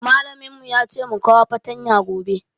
Mallamin mu ya ce mu kawo fatanya gobe.